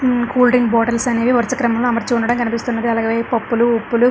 హు cool drink bottles అనేవి వరుస క్రమం లో అమర్చి ఉండడం కనిపిస్తున్నది. అలాగే పప్పులు ఉప్పులు --